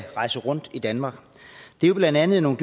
rejse rundt i danmark det er jo blandt andet nogle